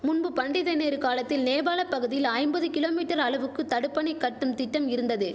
முன்பு பண்டித நேரு காலத்தில் நேபாள பகுதியில் ஐம்பது கிலோ மீட்டர் அளவுக்கு தடுப்பணை கட்டும் திட்டம் இருந்தது